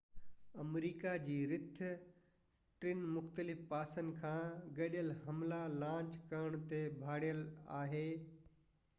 آمريڪا جي رٿ ٽن مختلف پاسن کان گڏيل حملا لانچ ڪرڻ تي ڀاڙيل آهي